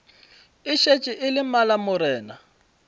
e šetše e le malamorena